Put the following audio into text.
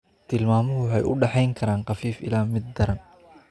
Tilmaamuhu waxay u dhaxayn karaan khafiif ilaa mid daran.